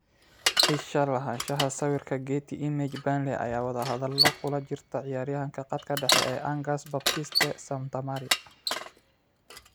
Isha Lahaanshaha sawirka Getty Images Burnley ayaa wadahadalo kula jirta ciyaaryahanka khadka dhexe ee Angers Baptiste Santamaria.